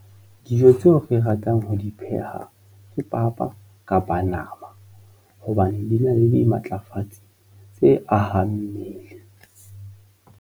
Dijo tseo ke ratang ho di pheha ke papa kapa nama hobane di na le di matlafatsi tse ahang mmele.